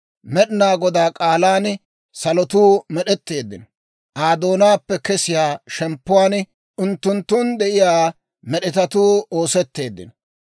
Med'inaa Godaa k'aalan salotuu med'etteeddino. Aa doonaappe kesiyaa shemppuwaan unttunttun de'iyaa med'etatuukka oosetteeddino.